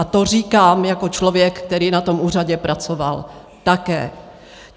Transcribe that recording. A to říkám jako člověk, který na tom úřadě pracoval také.